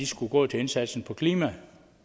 skulle gå til indsatsen for klimaet